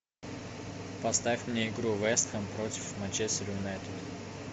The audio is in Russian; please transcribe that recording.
поставь мне игру вест хэм против манчестер юнайтед